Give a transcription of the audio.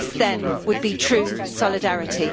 This, then, would be true solidarity.